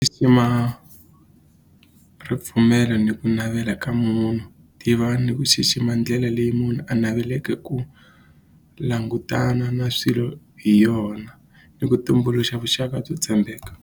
ripfumelo ni ku navela ka munhu tiva ni ku xixima ndlela leyi munhu a naveleke ku langutana na swilo hi yona ni ku tumbuluxa vuxaka byo tshembeka.